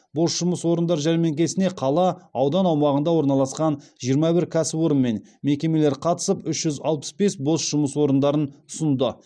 бос жұмыс орындар жәрмеңкесіне қала аудан аумағында орналасқан жиырма бір кәсіпорын мен мекемелер қатысып үш жүз алпыс бес бос жұмыс орындарын ұсынды